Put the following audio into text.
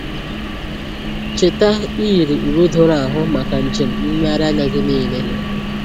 Cheta iyiri uwe doro ahụ maka njem nlegharị anya gị niile.